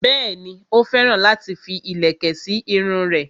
Bẹ́ẹ̀ni, ó féràn láti fi ìlẹ̀kẹ̀ sí irun rẹ̀